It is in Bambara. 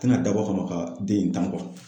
Tɛna dabɔ kama ka den in tan